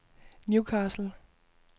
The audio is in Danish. Newcastle